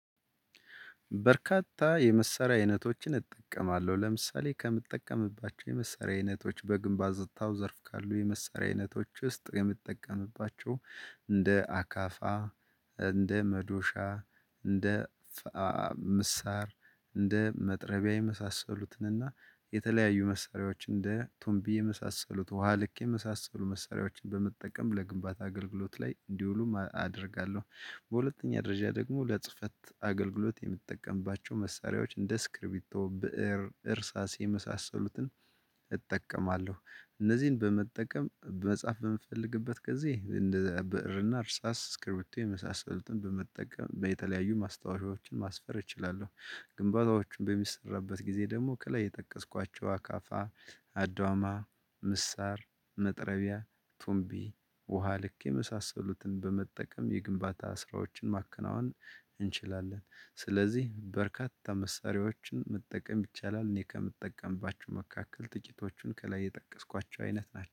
በርካታ የመሰሪያ አይነቶችን እጠቀማለሁ ለምሳሌ ከምጠቀምባቸው የመሰሪያ አይነቶች በግንባር ዘጥታው ዘርፍ ካሉ የመሰሪያዊነቶች ውስጥ የምትጠቀምባቸው እንደ አካፋ እንደ መዶሻ እንደ ምሳር እንደ መጥረቢያ የመሳሰሉትን እና የተለያዩ መሳሪያዎች እንደ ቱምቢ የመሳሰሉት ውሃ ልክ የመሳሰሉ መሳሪያዎችን በመጠቀም ለግንባታ አገልግሎት ላይ እንዲውሉ አደርጋለሁ። በሁለተኛ ደረጃ ደግሞ ለጽህፈት አገልግሎት የምትጠቀምባቸው መሳሪያዎች እንደ ስክሪቢቶ ብእር እርሳስ የመሳሰሉትን እጠቀማለሁ። እነዚህን በመጠቀም መጻፍ በምፈልግበት ጊዜ እንደ ብእርና እርሳስ ስክሪቢቲ የመሳሰሉትን በመጠቀም በተለያዩ ማስታወሻዎችን ማስፈር እችላለሁ። ግንባሮችን በሚሰራበት ጊዜ ደግሞ ከላይ የጠቀስኳቸው አካፋ አድዋማ ምሳር መጥረቢያ ቱምቢ ውሃ ልክ የመሳሰሉትን በመጠቀም የግንባታ ስራዎችን ማከናወን እንችላለን። ስለዚህ በርካታ መሳሪያዎችን መጠቀም ይቻላል እኔ ከምጠቀምባችሁ መካከል ጥቂቶቹን ከላይ የጠቀስኳቸው አይነት ናቸው